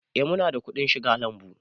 Eh mu na da kuɗin shiga lambu